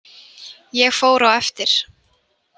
Ég fór á eftir.